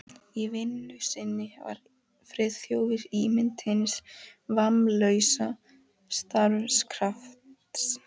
Í vinnu sinni var Friðþjófur ímynd hins vammlausa starfskrafts.